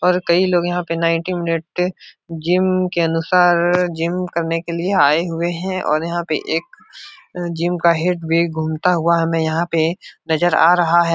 और कई लोग यहाँ पे नाइन्टी मिनट जिम के अनुसार जिम करने के लिए आए हुए हैं और यहाँ पे एक जिम का हेड भी घूमता हुआ हमें यहाँ पे नजर आ रहा है।